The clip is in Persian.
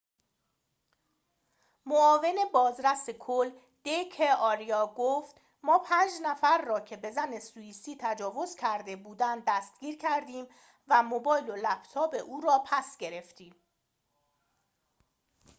معاون بازرس کل د ک آریا گفت ما پنج نفر را که به زن سوییسی تجاوز کرده بودند دستگیر کردیم و موبایل و لپتاپ او را پس گرفتیم